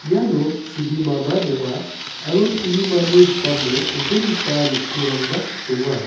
iano chibimaba donga aro chibimani rikamo chonchongipa rongterangba donga.